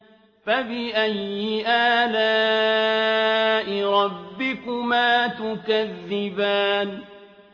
فَبِأَيِّ آلَاءِ رَبِّكُمَا تُكَذِّبَانِ